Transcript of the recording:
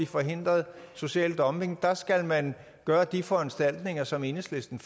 forhindret social dumping der skal man gøre de foranstaltninger som enhedslisten